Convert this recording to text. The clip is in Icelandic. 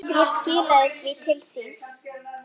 Ég skilaði því til þín.